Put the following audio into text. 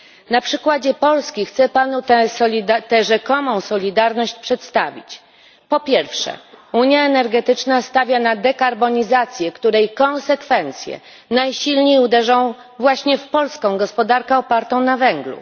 Na przykładzie Polski chcę panu tę rzekomą solidarność przedstawić po pierwsze, unia energetyczna stawia na dekarbonizację, której konsekwencje najsilniej uderzą właśnie w polską gospodarkę opartą na węglu.